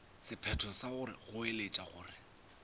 sephetho sa go goeletša gore